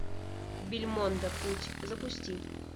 бельмондо путь запусти